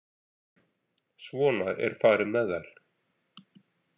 Svona er farið með þær.